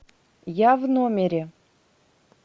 я в номере